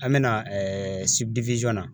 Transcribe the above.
An bɛ na na